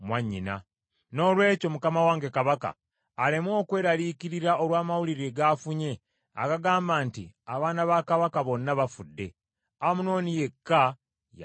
Noolwekyo mukama wange kabaka aleme okweraliikirira olw’amawulire g’afunye agagamba nti abaana ba kabaka bonna bafudde. Amunoni yekka ye afudde.”